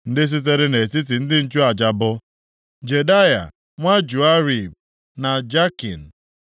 Ndị sitere nʼetiti ndị nchụaja bụ, Jedaya nwa Joiarib, na Jakin,